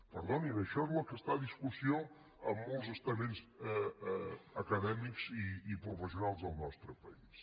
perdonin això és el que està en discussió en molts estaments acadèmics i professionals del nostre país